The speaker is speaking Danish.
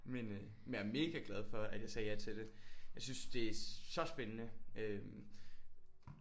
Men øh jeg er mega glad for at jeg sagde ja til det. Jeg synes det er så spændende øh